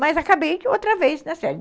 Mas acabei outra vez na série.